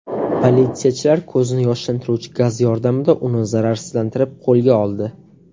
Politsiyachilar ko‘zni yoshlantiruvchi gaz yordamida uni zararsizlantirib, qo‘lga oldi.